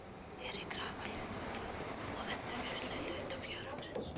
verið krafa hluthafa um endurgreiðslu hlutafjárins.